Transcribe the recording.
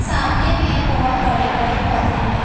सामने में बहोत बड़े बड़े पौधे हैं।